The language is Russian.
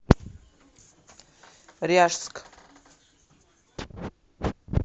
ряжск